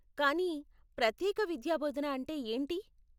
కానీ, ప్రత్యేక విద్యాబోధన అంటే ఏంటి?